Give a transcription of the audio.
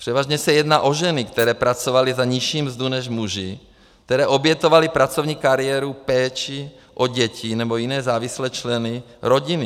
Převážně se jedná o ženy, které pracovaly za nižší mzdu než muži, které obětovaly pracovní kariéru péči o děti nebo jiné závislé členy rodiny.